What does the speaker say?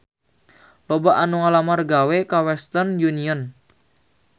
Loba anu ngalamar gawe ka Western Union